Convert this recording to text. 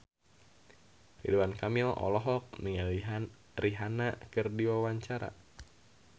Ridwan Kamil olohok ningali Rihanna keur diwawancara